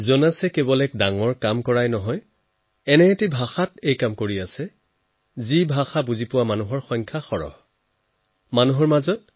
জোনাছে কেৱল এক ডাঙৰ কামেই কৰা নাই তেওঁ এনে ভাষাত কৰিছে যাতে বহুলোকে বুজাত সুবিধা হয়